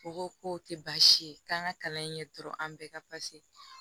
U ko k'o tɛ baasi ye k'an ka kalan in kɛ dɔrɔn an bɛɛ ka